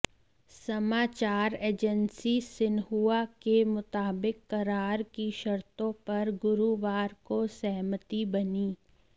समाचार agency Xinhua के मुताबिक करार की शर्तो पर गुरुवार को सहमति बनी